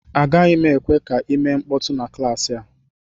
Agaghị m ekwe ka ị mee mkpọtụ na klaasị a